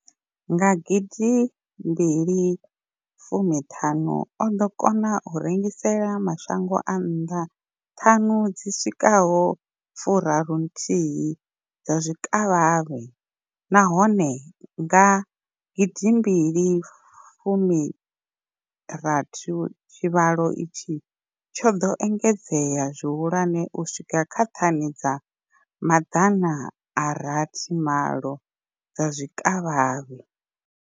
Nga 2015, o ḓo kona u rengisela mashango a nnḓa thani dzi swikaho fu raru nthihi dza zwikavhavhe, nahone nga gidimbili fumi rathi tshivhalo itshi tsho ḓo engedzea zwihulwane u swika kha thani dza maḓana a rathi malo dza zwikavhavhe.